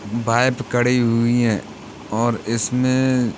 bike खड़ी हुई हैं और इसमें --